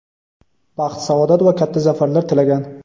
baxt-saodat va katta zafarlar tilagan.